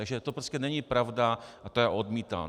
Takže to prostě není pravda a já to odmítám.